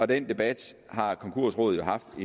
den debat har konkursrådet haft